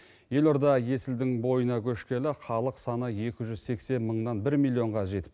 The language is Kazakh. елорда есілдің бойына көшкелі халық саны екі жүз сексен мыңнан бір миллионға жетіпті